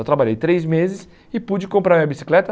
Eu trabalhei três meses e pude comprar minha bicicleta.